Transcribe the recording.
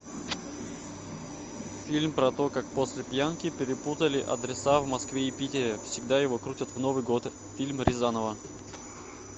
фильм про то как после пьянки перепутали адреса в москве и питере всегда его крутят в новый год фильм рязанова